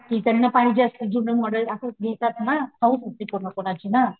त्यांना पाहिजे असतं जुनं मॉडेल असंच घरात ना हाऊस असते कोना कोणाची ना